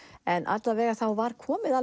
en alla vega var komið